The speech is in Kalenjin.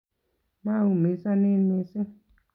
Maumisanin missing